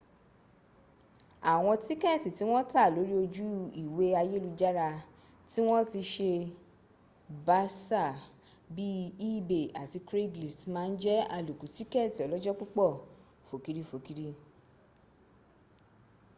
awọn tikẹẹti ti wọn ta lori oju iwe ayelujara ti wọn ti n se basa bii ebay abi craiglist ma n jẹ aloku tikẹẹti ọlọjọ-pupọ fokiri-fokiri